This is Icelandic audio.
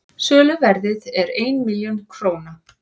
söluverðið er einn milljón króna